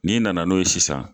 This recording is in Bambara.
N'i nana n'o ye sisan